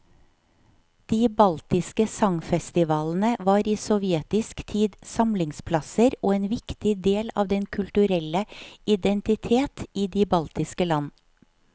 De baltiske sangfestivalene var i sovjetisk tid samlingsplasser og en viktig del av den kulturelle identitet i de baltiske land.